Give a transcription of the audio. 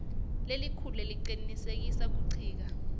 lelikhulu lecinisekisa kuncika